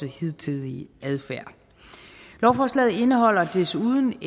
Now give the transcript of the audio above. hidtidige adfærd lovforslaget indeholder desuden